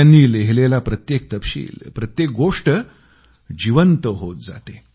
त्यांनी लिहिलेला प्रत्येक तपशील प्रत्येक गोष्ट जीवंत होत जाते